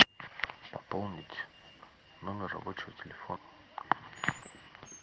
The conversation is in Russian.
пополнить номер рабочего телефона